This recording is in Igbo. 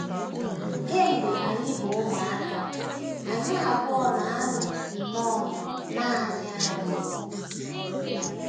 “ Kemgbe anyị bụ ụmụaka, anyị abụọ na - anọ nnọọ nanị anyị.